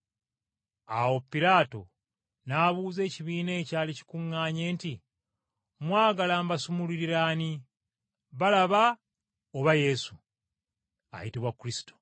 Awo Piraato n’abuuza ekibiina ekyali kikuŋŋaanye nti, “Mwagala mbasumululire ani, Balaba oba Yesu, ayitibwa Kristo?”